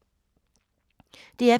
DR P3